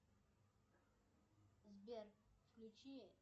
сбер включи